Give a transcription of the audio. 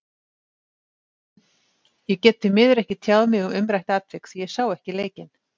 Ég get því miður ekki tjáð mig um umrætt atvik því ég sá ekki leikinn.